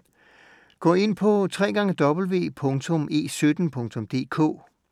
Gå ind på www.e17.dk